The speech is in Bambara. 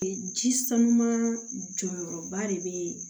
Ji sanuman jɔyɔrɔba de bɛ